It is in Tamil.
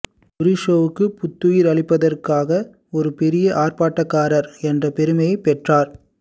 டூரிஸோவுக்குப் புத்துயிர் அளிப்பதற்காக ஒரு பெரிய ஆர்ப்பாட்டக்காரர் என்ற பெருமையைப் பெற்றார்